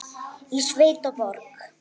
Í sveit og borg.